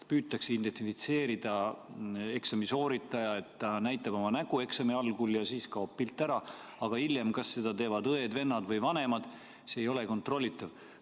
Püütakse identifitseerida eksami sooritajat nii, et ta näitab oma nägu eksami algul, ja siis kaob pilt ära, aga hiljem, kas seda teevad õed-vennad või vanemad, see ei ole kontrollitav.